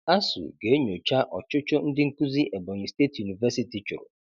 ASUU ga-enyocha ọchụchụ ndị nkuzi Ebonyi State University chụrụ.